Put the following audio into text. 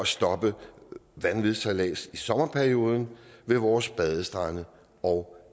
stoppe vanvidssejlads i sommerperioden ved vores badestrande og